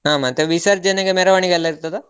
ಹ ಮತ್ತೆ ವಿಸರ್ಜನೆಗೆ ಮೆರವಣಿಗೆ ಎಲ್ಲ ಇರ್ತದ?